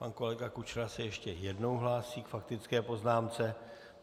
Pan kolega Kučera se ještě jednou hlásí k faktické poznámce.